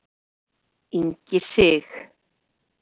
Ingi Sig.